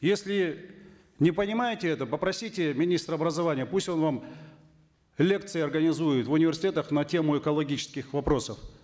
если не понимаете это попросите министра образования пусть он вам лекции организует в университетах на тему экологических вопросов